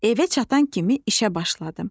Evə çatan kimi işə başladım.